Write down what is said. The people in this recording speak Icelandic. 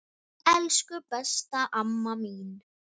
Elsku besta amma mín.